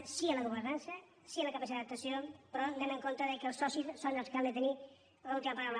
per tant sí a la governança sí a la capacitat d’adaptació però anem amb compte que els socis són els que han de tenir l’última paraula